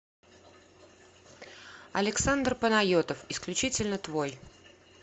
александр панайотов исключительно твой